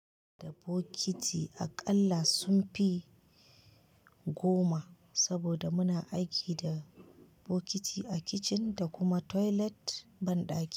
Da bokiti aƙalla sun fi goma saboda muna aiki da bokiti a kicin da kuma toilet banɗaki.